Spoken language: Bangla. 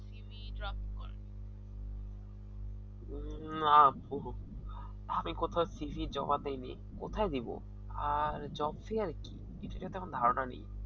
আমি কোথাও cv জমা দেইনি। কোথায় দেব আর job fair কি কিছুটা তেমন ধারনা নেই